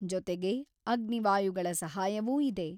ಜೊತೆಗೆ ಅಗ್ನಿ ವಾಯುಗಳ ಸಹಾಯವೂ ಇದೆ.